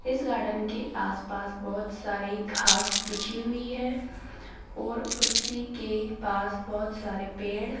इस गार्डन के आसपास बहोत सारी घास बिछी हुई है और उसी के पास बहोत सारे पेड़--